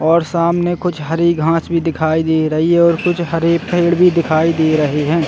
और सामने कुछ हरी घास भी दिखाई दे रही है और कुछ हरे पेड़ भी दिखाई दे रहे है।